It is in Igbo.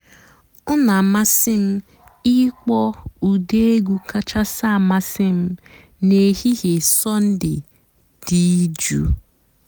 ọ́ nà-àmásị́ m ị̀kpọ́ ụ́dị́ ègwú kàchàsị́ àmásị́ m n'èhìhè sọ́ndée dị́ jụ́ụ́.